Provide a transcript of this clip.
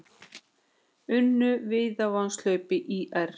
Unnu Víðavangshlaup ÍR